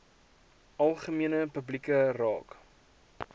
algemene publiek raak